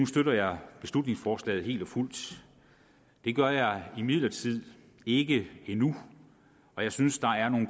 støtter beslutningsforslaget helt og fuldt det gør jeg imidlertid ikke endnu og jeg synes der er nogle